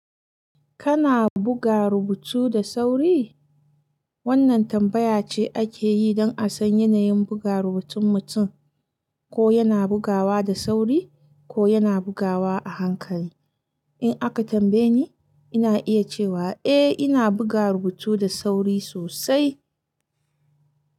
Kana buga rubutu da sauri? Wannan tambaya ce ake yi don a san yanayin buga rubutun mutum, ko yana bugawa da sauri ko yana bugawa a hankali. In aka tambaye ni, ina iya cewa eh ina buga rubutu da sauri sosai.